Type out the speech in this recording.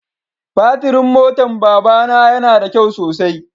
Batirin motan baba na ya na da kyau sosai.